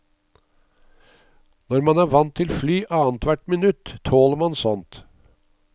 Når man er vant til fly annethvert minutt, tåler man sånt.